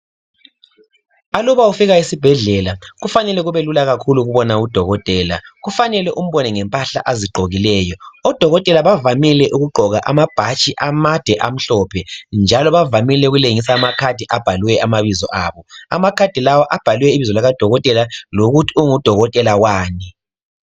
Aluba ufika esibhedlela kufanele kubelula kakhulu ukubona udokotela kufanele Umbone ngempahla azigqokileyo odokotela bavamile ukugqoka amabhatshi amade amhlophe njalo bavamile ukulengisa ama khadi abhaliwe amabizo abo Amakhadi lawa abhaliwe ibizo likadokotela lokuthi ungudokotela wani